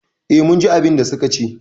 Eh, mun ji abinda suka ce